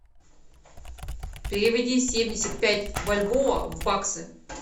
переведи семьдесят пять бальбоа в баксы